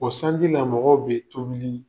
O sanji la mɔgɔw bɛ tobili